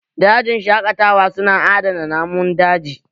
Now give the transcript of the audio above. Dajin shaƙatawa su na adana namun daji